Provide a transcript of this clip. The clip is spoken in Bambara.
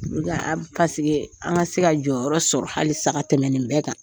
an ka se ka jɔyɔrɔ sɔrɔ hali san ka tɛmɛ nin bɛɛ kan.